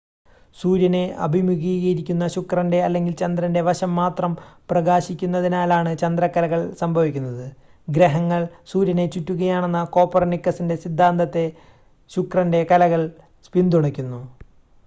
സൂര്യനെ അഭിമുഖീകരിക്കുന്ന ശുക്രന്റെ അല്ലെങ്കിൽ ചന്ദ്രന്റെ വശം മാത്രം പ്രകാശിക്കുന്നതിനാലാണ് ചന്ദ്രക്കലകൾ സംഭവിക്കുന്നത്. ഗ്രഹങ്ങൾ സൂര്യനെ ചുറ്റുകയാണെന്ന കോപ്പർനിക്കസിന്റെ സിദ്ധാന്തത്തെ ശുക്രന്റെ കലകൾ പിന്തുണയ്ക്കുന്നു